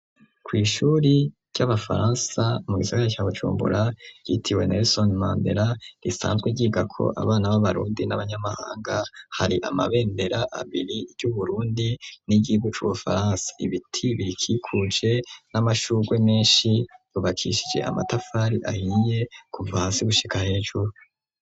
Kw'ishuri ry'abafaransa mu gisagara ca Bujumbura ryitiriwe Nelsone Mandera risanzwe ryigako abana b'abarundi n'abanyamahanga hari amabendera abiri, iry'Uburundi n'iryigihugu c'Ubufaransa, ibiti birikikuje n'amashurwe menshi, ryubakishije amatafari ahiye kuva hasi gushika hejuru.